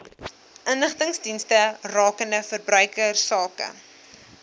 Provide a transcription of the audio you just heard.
inligtingsdienste rakende verbruikersake